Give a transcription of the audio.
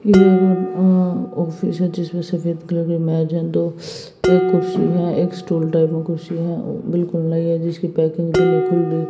ये वो अ ऑफिस है जिसमें से सफेद कलर मेज है दो एक कुर्सी है एक स्टूल टाइप में कुर्सी है बिल्कुल नई है जिसकी पैकिंग भी नहीं खुली--